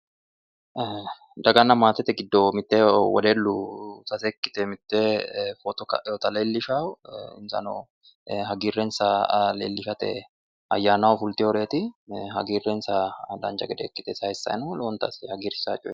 Daganna maatete giddo mitte wedellu mitte ikkite footo ka'eyoota leellishawo insano hagiirrensa leellishate ayyaanaho fulteyoreeti hagiirrensa dancha gede ikkite sayiissayi no lowonta asse hagirsisaawo coyeeti.